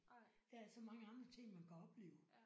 Der er så mange andre ting man kan opleve